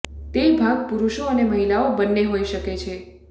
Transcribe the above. તે ભાગ પુરુષો અને મહિલાઓ બંને હોઈ શકે છે